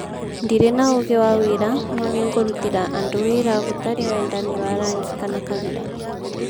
"ndirĩ na ũũgĩ wa wĩra no nĩngũrutĩra andu wĩra gũtarĩ wendani wa rangi kana kabira".